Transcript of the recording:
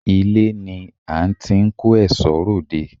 Ilé ni à n ti n kó èsó ròde